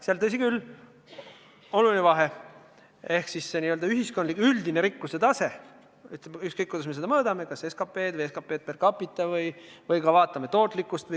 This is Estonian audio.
Seal, tõsi küll, on väga kõrge n-ö üldine rikkuse tase – ükskõik, kuidas me seda mõõdame, kas vaatame SKT-d või SKT-d per capita või vaatame tootlikkust.